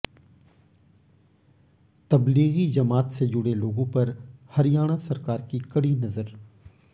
तब्लीगी जमात से जुड़े लोगों पर हरियाणा सरकार की कड़ी नजर